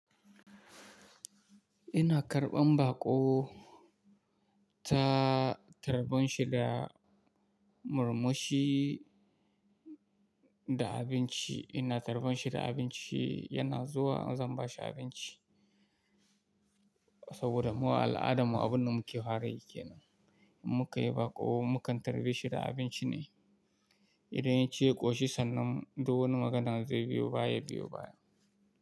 Ina karɓan baƙo, ta tarban shi da murmushi da abinci. Ina tarban shi da abinci, yana zuwa zan ba shi abinci. Saboda mu a al'adarmu abin da muke farayi ke nan. In muka yi baƙo, mu kan tarbe shi da abinci ne. Idan ya ci ya ƙoshi sannan duk wani magana zai biyo baya, ya biyo baya.